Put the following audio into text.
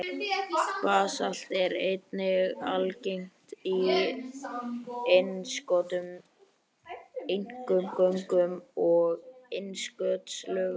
Basalt er einnig algengt í innskotum, einkum göngum og innskotslögum.